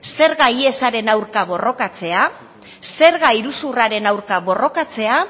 zerga ihesaren aurka borrokatzea zerga iruzurraren aurka borrokatzea